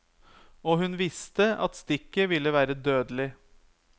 Og hun visste at stikket ville være dødelig.